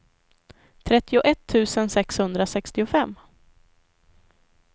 trettioett tusen sexhundrasextiofem